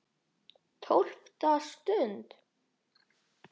TÓLFTA STUND